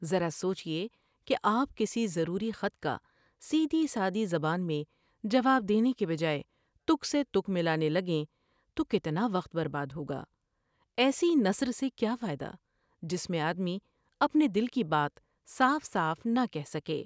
ذرا سوچیے کہ آپ کسی ضروری خط کا سیدھی سادی زبان میں جواب دینے کے بجاۓ تک سے تک ملانے لگیں تو کتنا وقت برباد ہوگا۔ ایسی نثر سے کیا فائدہ جس میں آدمی اپنے دل کی بات صاف صاف نہ کہہ سکے ۔